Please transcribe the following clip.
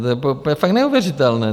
To je fakt neuvěřitelné!